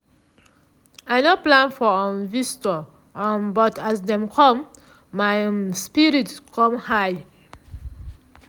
i nor plan for um visitor um but as dem come my um spirit com high.